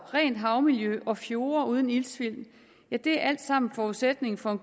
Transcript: rent havmiljø og fjorde uden iltsvind er alt sammen forudsætningen for at